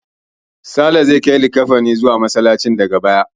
Sale zai kai likkafanin zuwa Masallaci daga baya.